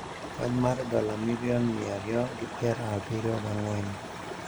Kony mar dola milion mia ariyo gi pier abiriyo ga ang`wen